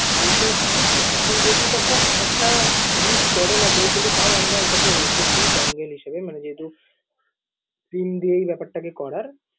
যেহেতু, মানে এখন যেহেতু এটা খুব একটা use করেনা কেউ কিন্তু তাও আমরা এটাকে রেখেছি dongle হিসেবে মানে যেহেতু SIM দিয়েই ব্যাপারটাকে করার।